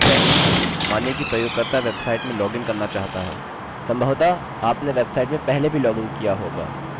यह एक लॉगिन प्रारूप है मानिए कि प्रयोगकर्ता वेबसाइट में लॉगिन करना चाहता है